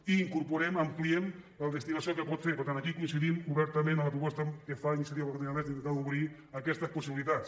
i incorporem ampliem la destinació que en pot fer per tant aquí coincidim obertament amb la proposta que fa iniciativa per catalunya verds d’intentar obrir aquestes possibilitats